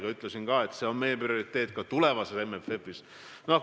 Ma ütlesin, et see on meie prioriteet ka tulevases MFF-is.